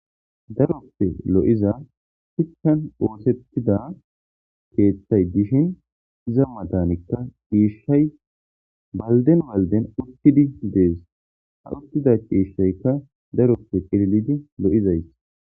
Daroppe lo7iza hickan oosettida keeththay dishin iza matanikka iishay balden walden urtidi dees ha urtida qiishshoykka daroppe qililidi lo7izays